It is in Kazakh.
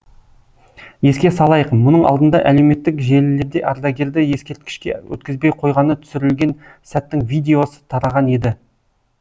еске салайық мұның алдында әлеуметтік желілерде ардагерді ескерткішке өткізбей қойғаны түсірілген сәттің видеосы тараған еді